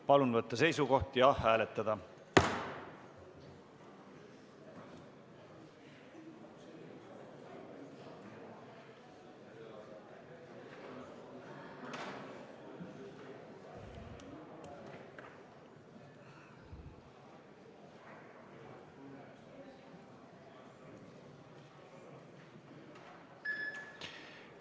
Palun võtta seisukoht ja hääletada!